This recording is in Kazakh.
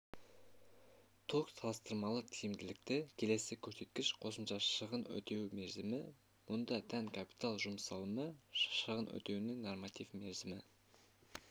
ток салыстырмалы тиімділікті келесі көрсеткіш қосымша шығынды өтеу мерзімі мұнда тән капитал жұмсалымы шығын өтеуінің нормативті мерзімі